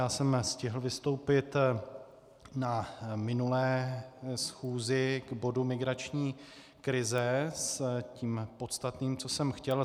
Já jsem stihl vystoupit na minulé schůzi k bodu migrační krize s tím podstatným, co jsem chtěl.